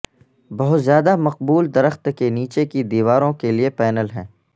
بہت زیادہ مقبول درخت کے نیچے کی دیواروں کے لئے پینل ہیں